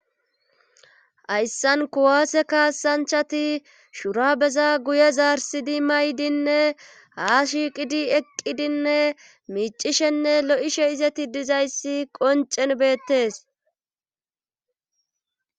Hayssan kuwaase kaasanchati shura beza guye zaarsidi may7dinne haa shiiqidi eqqidinne miicishenne lo7ishe izeti dizayssi qoncen beettes